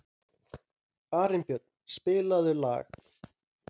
Arnbjörn, spilaðu lag.